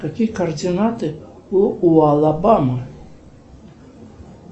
какие координаты у алабамы